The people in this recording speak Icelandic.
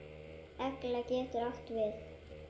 Egla getur átt við